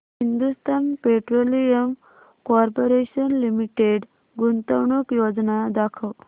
Hindustan petroleum corporation limited गुंतवणूक योजना दाखव